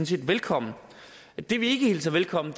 set velkommen det vi ikke hilser velkommen